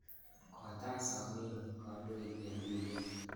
Kotach somenyi kandoik eng' tuyet.